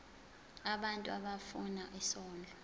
abantu abafuna isondlo